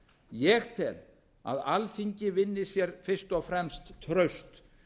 ég tel að alþingi vinni sér fyrst og fremst traust